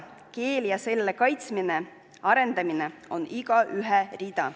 Keel ja selle kaitsmine, arendamine on igaühe rida.